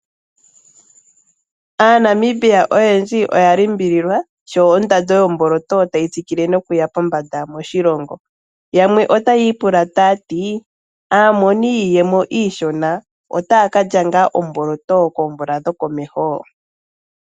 AaNamibia oyendji oya limbililwa sho ondando yomboloto tayi tsikile nokuya pombanda moshilongo yamwe otaya ipula ta yati : Aamoni yiiyemo iishona otaya ka lya ngaa omboloto koomvula dhokomeho?